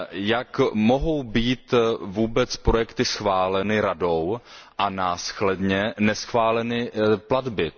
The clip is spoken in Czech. Jak mohou být vůbec projekty schváleny Radou a následně neschváleny platby?